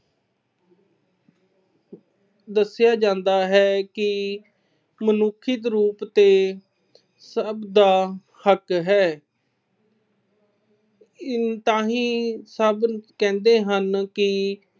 ਦੱਸਿਆ ਜਾਂਦਾ ਹੈ ਕਿ ਲਿਖਤ ਰੂਪ ਤੇ ਸਭ ਦਾ ਹੱਕ ਹੈ। ਅਹ ਤਾਂਹੀ ਸਭ ਕਹਿੰਦੇ ਹਨ ਕਿ